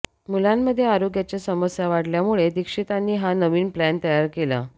मुलांमध्ये आरोग्याच्या समस्या वाढल्यामुळे दीक्षितांनी हा नवीन प्लॅन तयार केला